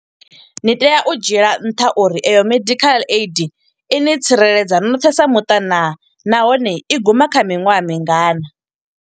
Ni tea u dzhiela nṱha uri eyo medical aid ini tsireledza noṱhe sa muṱa naa, nahone i guma kha miṅwaha mingana.